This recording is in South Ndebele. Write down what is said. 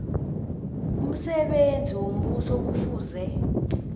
umsebenzi wombuso kufuze